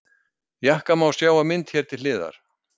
Jakkann má sjá á mynd hér til hliðar.